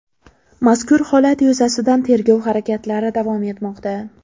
Mazkur holat yuzasidan tergov harakatlari davom etmoqda.